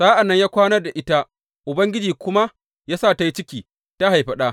Sa’an nan ya kwana da ita, Ubangiji kuma ya sa ta yi ciki, ta haifi ɗa.